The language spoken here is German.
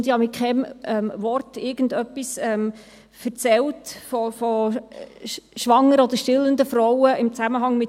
Ich habe im Zusammenhang mit dieser Studie mit keinem Wort irgendetwas von schwangeren oder stillenden Frauen erzählt.